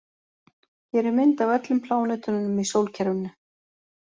Hér er mynd af öllum plánetunum í sólkerfinu.